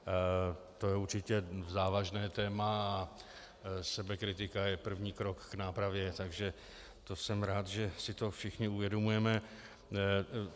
To je určitě závažné téma a sebekritika je první krok k nápravě, takže jsem rád, že si to všichni uvědomujeme.